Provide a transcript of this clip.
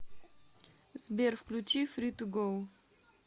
сбер включи фри ту гоу